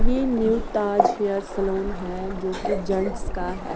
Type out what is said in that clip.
ये new Taj hair salon है जोकि जेंट्स का है।